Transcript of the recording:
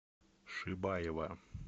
шибаева